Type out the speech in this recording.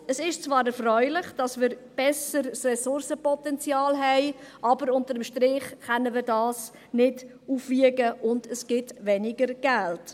Es ist zwar erfreulich, dass wir ein besseres Ressourcenpotenzial haben, aber unter dem Strich können wir dies nicht aufwiegen, und es gibt weniger Geld.